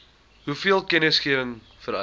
hoeveel kennisgewing vereis